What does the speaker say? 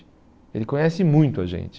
Ele conhece muito a gente.